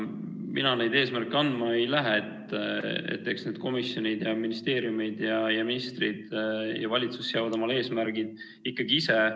Mina neid eesmärke andma ei lähe, eks need komisjonid, ministeeriumid ja ministrid ja valitsus seavad omale eesmärgid ikkagi ise.